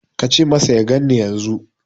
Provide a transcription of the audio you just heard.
Ka ce masa ya ganni yanzu.